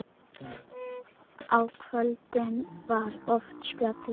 Á kvöldin var oft spilað.